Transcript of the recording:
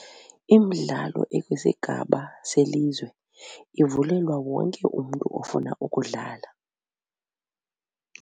Imdlalo ekwisigaba selizwe ivulelwa wonke umntu ofuna ukudlala.